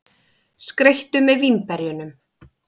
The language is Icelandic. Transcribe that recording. Skreyttu með vínberjunum.